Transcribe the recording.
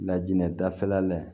Lajinɛ dafɛla la